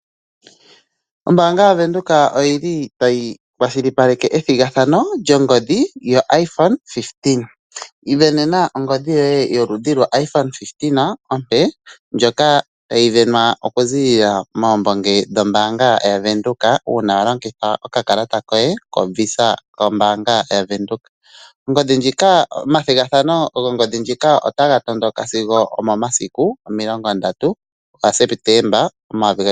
Ombaanga ya venduka, oyi li ta yi kwashilipaleke, ethigathano lyongodhi yo (IPhone 15). Ivenena ongodhi yoye yoludhi lwo iPhone 15 ompe, ndjoka ta yi vena oku ziilila moombonge dhombaanga ya venduka, uuna wa longitha oka kalata koye ko visa ko mbaanga ya venduka. Omathigathano gongodhi ndjika ota ga tondoka sigo omomasiku omilongo ndatu ga sepetemba omayovi gaali nomilongo mbali nane.